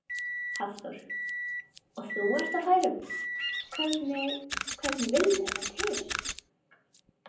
Hafþór: Og þú ert á færum, hvernig vildi þetta til?